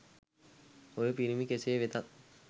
ඔය පිරිමි කෙසේ වෙතත්